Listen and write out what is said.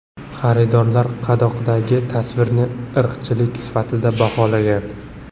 Xaridorlar qadoqdagi tasvirni irqchilik sifatida baholagan.